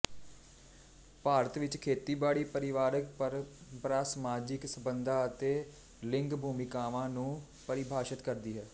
ਭਾਰਤ ਵਿੱਚ ਖੇਤੀਬਾੜੀ ਪਰਿਵਾਰਕ ਪਰੰਪਰਾ ਸਮਾਜਿਕ ਸੰਬੰਧਾਂ ਅਤੇ ਲਿੰਗ ਭੂਮਿਕਾਵਾਂ ਨੂੰ ਪਰਿਭਾਸ਼ਤ ਕਰਦੀ ਹੈ